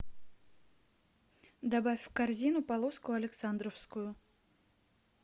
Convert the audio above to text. добавь в корзину полоску александровскую